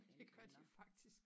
Det gør de faktisk